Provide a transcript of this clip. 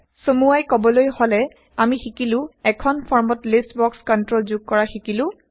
চমুৱাই কবলৈ হলে আমি শিকিলো এখন160ফৰ্মত লিষ্ট বক্স কন্ট্ৰল যোগ কৰা শিকিলো